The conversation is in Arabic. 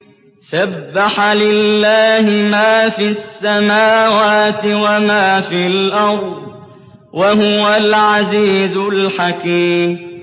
سَبَّحَ لِلَّهِ مَا فِي السَّمَاوَاتِ وَمَا فِي الْأَرْضِ ۖ وَهُوَ الْعَزِيزُ الْحَكِيمُ